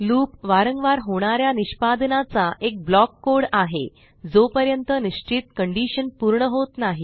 loop वारंवार होणार्या निष्पादनाचा एक ब्लॉक कोड आहे जोपर्यंत निश्चित कंडीशन पूर्ण होत नाही